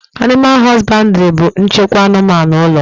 Animal hosbandiri bu nchịkwa anụmanụ ụlọ